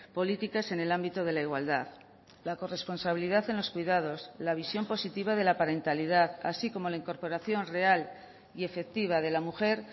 políticas en el ámbito de la igualdad la corresponsabilidad en los cuidados la visión positiva de la parentalidad así como la incorporación real y efectiva de la mujer